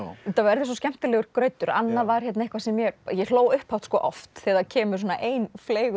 þetta verður svo skemmtilegur grautur annað var eitthvað sem ég ég hló upphátt oft þegar það kemur svona ein